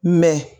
Mɛ